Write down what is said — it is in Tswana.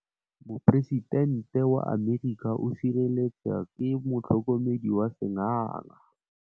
Poresitêntê wa Amerika o sireletswa ke motlhokomedi wa sengaga.